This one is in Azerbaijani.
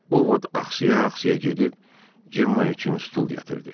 O, vot axsıya-axsıya gedib Cemma üçün stul gətirdi.